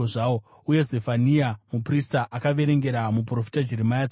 Uye, Zefania muprista akaverengera muprofita Jeremia tsamba iyi.